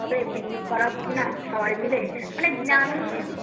হবে picnic করা হোক না সবাই মিলে মানে